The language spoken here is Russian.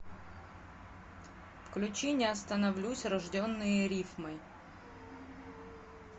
включи не остановлюсь рожденные рифмой